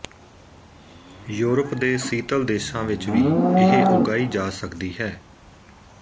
Europe ਦੇ ਸੀਤਲ ਦੇਸ਼ਾਂ ਵਿੱਚ ਵੀ ਇਹ ਉਗਾਈ ਜਾ ਸਕਦੀ ਹੈ